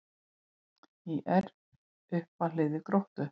ÍR upp að hlið Gróttu